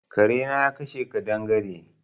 Kare na ya kashe kaɗangare.